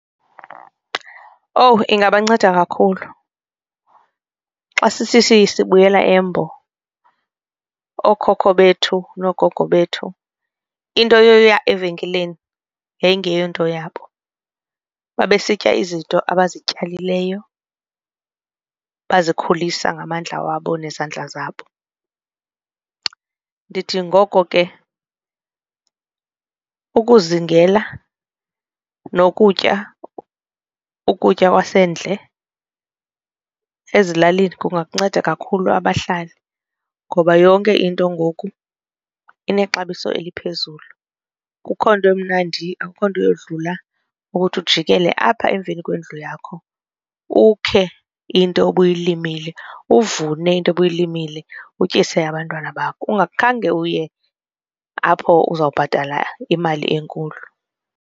Owu ingabanceda kakhulu xa sisithi sibuyela embo ookhokho bethu noogogo bethu into yoya evenkileni yayingeyonto yabo babesitya izinto abazityalileyo bazikhulisa ngamandla wabo nezandla zabo. Ndithi ngoko ke ukuzingela nokutya ukutya kwasendle ezilalini kungakunceda kakhulu abahlali ngoba yonke into ngoku inexabiso eliphezulu, kukho nto emnandi akukho nto yodlula ukuthi ujikela apha emveni kwendlu yakho ukhe into obuyilimile uvune into obuyilimile utyise abantwana bakho ungakhange uye apho uzobhatala imali enkulu.